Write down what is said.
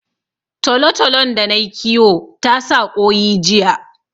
Tolotolon da nayi kiwo ta sa ƙoyi jiya